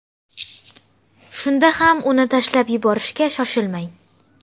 Shunda ham uni tashlab yuborishga shoshilmang.